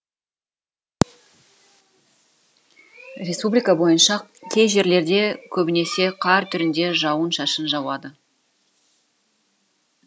республика бойынша кей жерлерде көбінесе қар түрінде жауын шашын жауады